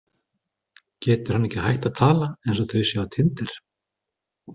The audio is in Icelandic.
Getur hann ekki hætt að tala eins og þau séu á tinder?